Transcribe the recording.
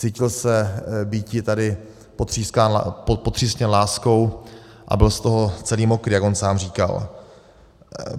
Cítil se býti tady potřísněn láskou a byl z toho celý mokrý, jak on sám říkal.